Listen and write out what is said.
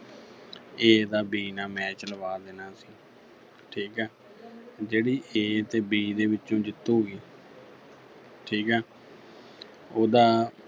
A ਦਾ B ਨਾਲ match ਲਵਾ ਦੇਣਾ ਸੀ ਠੀਕਾ ਜਿਹੜੀ A ਤੇ B ਦੇ ਵਿੱਚੋਂ ਜਿੱਤੂਗੀ ਠੀਕਾ ਉਹਦਾ